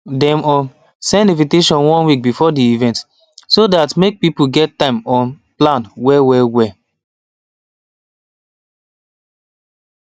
dem um send invitation one week before the event so dat make people get time um plan well well well